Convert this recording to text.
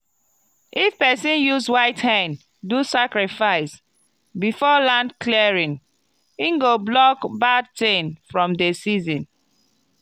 if person use white hen do sacrifice before land clearing e go block bad thing from the season.